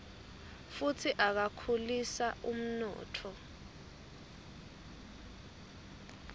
futsi akhulisa umnotfo